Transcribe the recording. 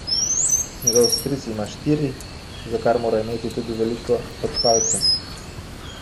Njegov stric ima štiri, za kar mora imeti tudi veliko pod palcem.